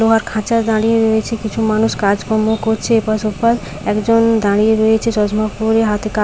লোহার খাঁচায় দাঁড়িয়ে রয়েছে কিছু মানুষ কাজকর্ম করছে এপাশ ওপাশ একজন দাঁড়িয়ে রয়েছে চশমা পরে হাতে কা--